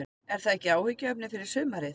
Er það ekki áhyggjuefni fyrir sumarið?